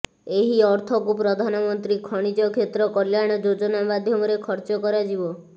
ଏହି ଅର୍ଥକୁ ପ୍ରଧାନମନ୍ତ୍ରୀ ଖଣିଜ କ୍ଷେତ୍ର କଲ୍ୟାଣ ଯୋଜନା ମାଧ୍ୟମରେ ଖର୍ଚ୍ଚ କରାଯିବ